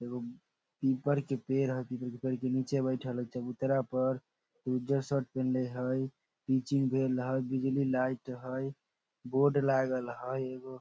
एगो पीपल के पेड़ हेय पीपल के पेड़ के नीचे बैठएल हेय चबूतरा पर उज्जर शर्ट पहिन्ले हेय पिचिंग भेल हेय बिजली लाइट हेय बोर्ड लागल हेय एगो।